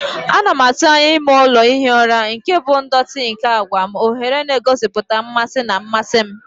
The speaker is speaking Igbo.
Ana m atụ anya ime ụlọ ihi ụra nke bụ ndọtị nke àgwà m, oghere na-egosipụta mmasị na mmasị m.